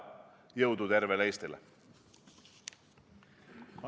Jõudu tervele Eestile!